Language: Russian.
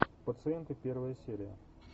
пациенты первая серия